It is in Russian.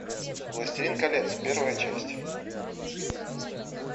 властелин колец первая часть